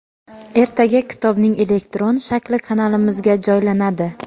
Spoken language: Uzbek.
ertaga kitobning elektron shakli kanalimizga joylanadi.